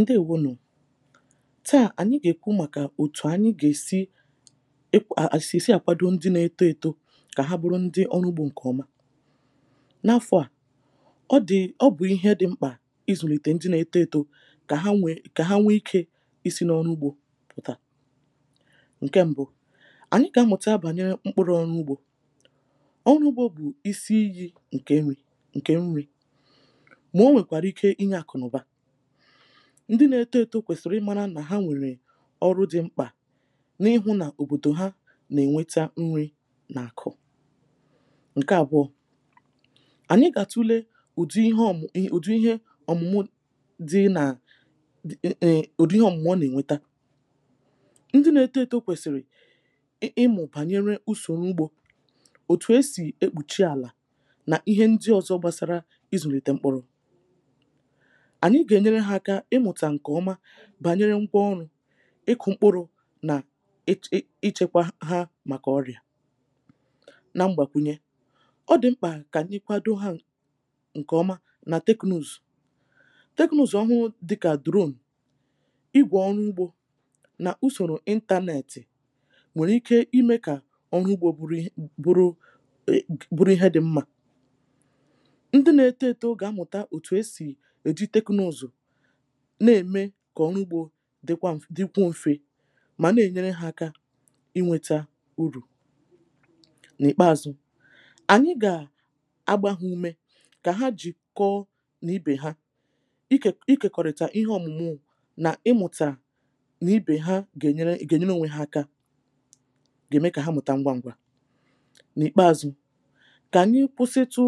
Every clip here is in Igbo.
ǹdeèwo nu taà ànyi gà-èkwu màkà òtù ànyi gà-èsi ụm èkwà sị̀èsi àkwado ndi nà-eto eto kà ha bụrụ ndi ọrụ ugbȯ ǹkè ọma, n’afọ à ọ dị̀ ọ bụ̀ ihe dị̇ mkpà ịzụ̀nìtè ndi nà-eto eto kà ha nwè kà ha nwee ikė isi n’ọrụ ugbȯ pụ̀tà ǹkè mbụ̇ ànyi kà amụ̀ta bànyèrè mkpụrụ ọrụ ugbȯ, ọrụ ugbȯ bụ̀ isi iyi̇ ǹkè nrì ǹkè nrì ma onwekwara ike inye akụ na uba, ndị nȧ-ėtȯ ėtȯ kwèsìrì ịmȧrȧ nà ha nwèrè ọrụ dị̇ mkpà n’ịhụ̇ nà òbòdò ha nà-ènweta nri nà àkụ̀[paues] ǹke àbụọ̇ ànyị gà-àtule ùdị ihe ọ̀mụ̀ ụm ùdị ihe ọ̀mụ̀mụ dị nà dị.. ǹa um. ùdị ihe ọ̀mụ̀mụ̀ ọ nà-ènweta ndị nȧ-ėtȯ ėtȯ kwèsìrì ị ịmụ̇ bànyere usòrò ugbȯ òtù esì ekpùchi àlà nà ihe ndị ọ̀zọ gbasara ịzụ̀nìtè mkpụ̀rụ̀.anyi ga enyere ha aka imuta nke ọma bànyere ngwa ọrụ ịkụ̀ mkpụrụ nà um ịchekwa ha màkà ọrịà na mgbàkwunye ọ dị̀ mkpà kà kà nà-èkwado ha ǹkèọma nà teknụzụ̀ teknụzụ̀ ọhụụ dị kà drone ịgwà ọrụ ugbȯ nà usòrò intȧnẹ̀tị̀ nwèrè ike imė kà ọrụ ugbȯ bụrụ bụrụ ihe dị̀ mmȧ ndị nȧ-eto eto ọgà-amụ̀ta òtù esì na-ème kà ọrụ ugbȯ dịkwa um dikwuo mfe mà na-enyere ha aka inwėtȧ urù.n’ìkpeazụ̇ ànyị gà agbȧ ha umė kà ha jìkọ n’ibè ha ikè ikèkọ̀rị̀tà ihe ọ̀mụ̀mụ nà ịmụ̀tà nà ibè ha ga enyere gà-ènyere n’ònwe ha aka gà-ème kà ha mụ̀ta ngwaǹgwa. n’ìkpeȧzụ̇ kà ànyị kwụsịtụ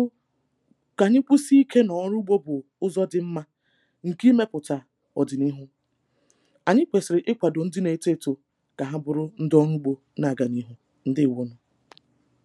kà ànyị kwụsị ikė na ọrụ ugbȯ bụ̀ ụzọ dị mmȧ nke imeputa odi n'ihu.ànyị kwèsìrì ịkwàdò ndị na-eto etȯ kà ha bụrụ ndị ọrụ ugbȯ na-àgànịhụ̇ ndewo nù